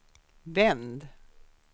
vänd